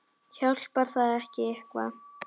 Hjálpar það ekki eitthvað?